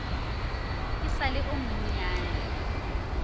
e sa le yo monnyane